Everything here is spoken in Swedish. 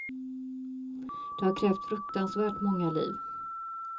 Det har krävt fruktansvärt många liv.